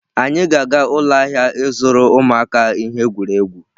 Anyị ga-aga ụlọ ahịa ịzụrụ ụmụaka ihe egwuregwu.